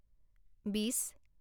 বিছ